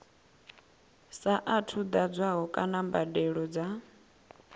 saathu ḓadzwaho kana mbadelo dza